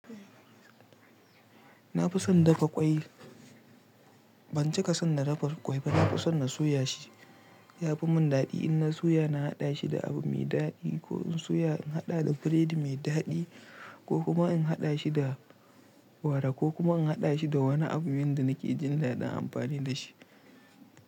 Na fi son dafa ƙwai. Ban cika son na dafaffen ƙwai ba. Na fi son na soya shi. Ya fimin daɗi in na soya, na haɗa shi da abu mai daɗi ko in soya in haɗa da biredi mai daɗi ko kuma in haɗa shi da gwara ko kuma in haɗa shi da wani abu wanda nake jin daɗin amfani da shi.